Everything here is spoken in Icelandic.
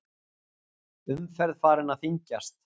Umferð farin að þyngjast